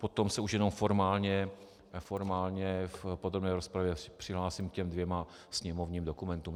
Potom se už jenom formálně v podrobné rozpravě přihlásím k těm dvěma sněmovním dokumentům.